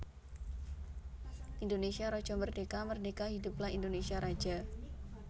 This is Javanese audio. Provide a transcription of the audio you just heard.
Indonésia Raja Merdeka merdeka Hiduplah Indonésia Raja